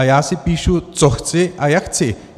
A já si píšu, co chci a jak chci.